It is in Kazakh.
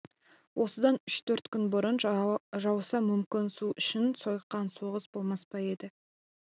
осыдан үш-төрт күн бұрын жауса мүмкін су үшін сойқан соғыс болмас па еді